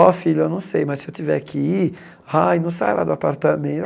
Ó, filho, eu não sei, mas se eu tiver que ir, ai, não sai lá do